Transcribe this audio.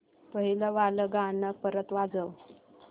पहिलं वालं गाणं परत वाजव